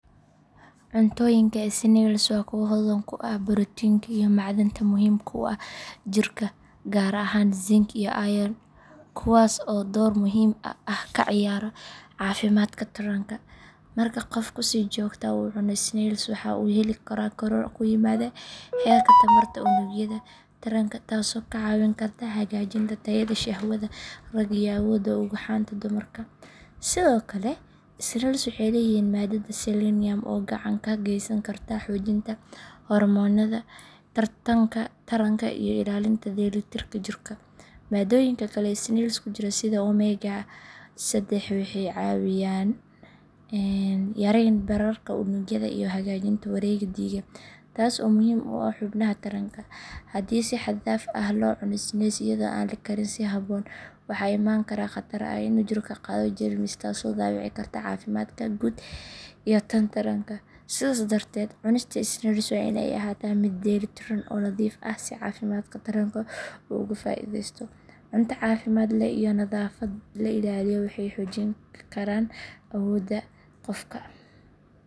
Cuntooyinka snails waa kuwo hodan ku ah borotiinka iyo macdanta muhiimka u ah jirka, gaar ahaan zinc iyo iron, kuwaas oo door muhiim ah ka ciyaara caafimaadka taranka. Marka qofku si joogto ah u cuno snails, waxa uu heli karaa koror ku yimaada heerka tamarta unugyada taranka, taasoo ka caawin karta hagaajinta tayada shahwada ragga iyo awoodda ugxanta dumarka. Sidoo kale, snails waxay leeyihiin maadada selenium oo gacan ka geysan karta xoojinta hormoonnada taranka iyo ilaalinta dheelitirka jirka. Maaddooyinka kale ee snails ku jira sida omega saddex waxay caawiyaan yareynta bararka unugyada iyo hagaajinta wareegga dhiigga, taas oo muhiim u ah xubnaha taranka. Haddii si xad dhaaf ah loo cuno snails iyadoo aan la karin si habboon, waxaa imaan kara khatar ah in jirku qaado jeermis, taasoo dhaawici karta caafimaadka guud iyo tan taranka. Sidaas darteed, cunista snails waa in ay ahaataa mid dheeli tiran oo nadiif ah si caafimaadka taranka uu uga faa’iidaysto. Cunto caafimaad leh iyo nadaafad la ilaaliyo waxay xoojin karaan awoodda taranka qofka.